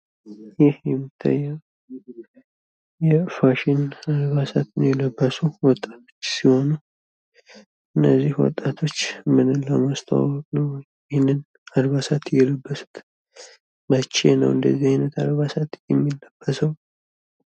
ይህ የሚታየው የፋሽን አልባሳትን የለበሱ ወጣቶች ሲሆኑ አነዚህ ወጤቶች ምንን ለማስተዋወቅ ነው ይህን አልባሳት የለበሱት ?መቼ ነው እንደዚህ አይነት አልባሳት የሚለበሰው!